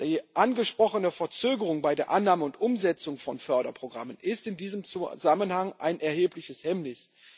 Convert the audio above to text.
Die angesprochene Verzögerung bei der Annahme und Umsetzung von Förderprogrammen ist in diesem Zusammenhang ein erhebliches Hemmnis.